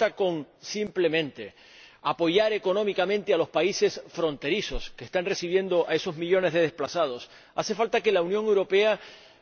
No basta simplemente con apoyar económicamente a los países fronterizos que están recibiendo a esos millones de desplazados hace falta que la Unión Europea